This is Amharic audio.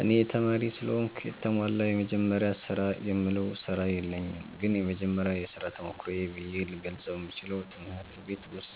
እኔ ተማሪ ስለሆንኩ የተሟላ “የመጀመሪያ ስራ”የምለው ስራ የለኝም ግን የመጀመሪያ የሥራ ተሞክሮዬ ብዬ ልገልጸው የምችለው ትምህርት ቤት ውስጥ